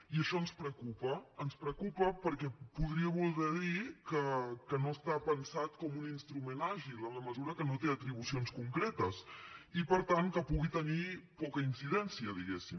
i això ens preocupa ens preocupa perquè podria voler dir que no està pensat com un instrument àgil en la mesura que no té atribucions concretes i per tant que pugui tenir poca incidència diguem ne